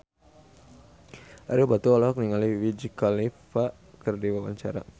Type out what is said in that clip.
Ario Batu olohok ningali Wiz Khalifa keur diwawancara